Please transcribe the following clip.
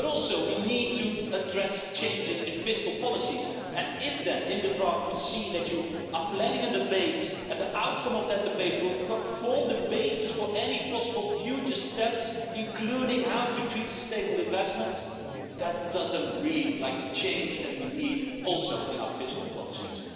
But also we need to address changes in fiscal policies, and if then in the draft we see that you are planning a debate, and the outcome of that debate will form the basis for any possible future just steps including how to treat sustainable investment that doesn't read like the change that we need also in our fiscal policies.